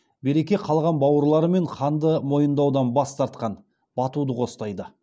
берке қалған бауырларымен ханды мойындаудан бас тартқан батуды қостайды